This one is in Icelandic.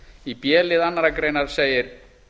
í b lið annarrar greinar segir